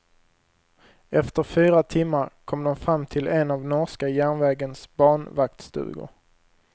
Efter fyra timmar kom de fram till en av norska järnvägens banvaktstugor.